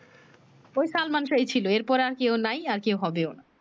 ঐ শালমান শাহ ছিলো এর পরে আর কেও নাই আর কেও হবেও না